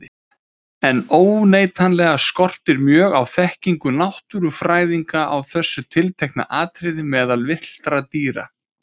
En óneitanlega skortir mjög á þekkingu náttúrufræðinga á þessu tiltekna atriði meðal villtra dýra.